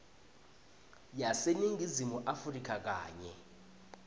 yaseningizimu afrika kanye